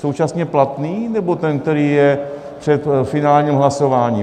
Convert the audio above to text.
Současně platný, nebo ten, který je před finálním hlasováním?